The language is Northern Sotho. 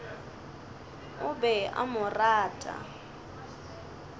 o be a mo rata